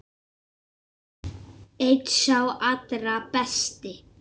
Einn sá allra besti.